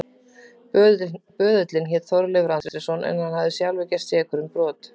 Böðullinn hét Þorleifur Andrésson en hann hafði sjálfur gerst sekur um brot.